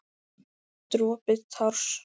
Dropi társ.